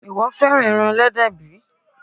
Ìwọ fẹ́ràn ẹran Ẹlẹ́dẹ̀ bí?